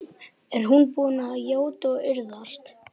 Er hún búin að játa og iðrast?